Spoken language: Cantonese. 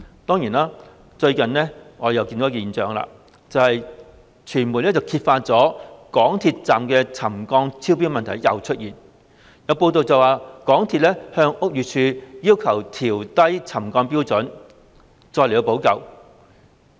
當然，最近我們又看到一個現象，有傳媒揭發港鐵站又再出現沉降超標的問題，報道指港鐵公司要求屋宇署放寬沉降標準，其後再作補救。